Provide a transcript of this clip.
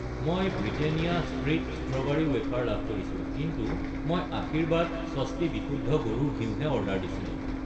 মই Britannia treat strawberry wafer লাভ কৰিছোঁ, কিন্তু মই আশীৰ্বাদ স্বস্তি বিশুদ্ধ গৰুৰ ঘিউ হে অৰ্ডাৰ দিছিলোঁ।